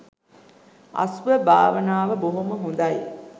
අසුභ භාවනාව බොහොම හොඳයි